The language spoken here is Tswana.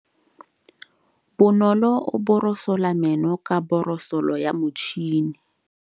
Bonolô o borosola meno ka borosolo ya motšhine.